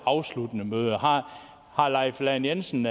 afsluttende møde har herre leif lahn jensen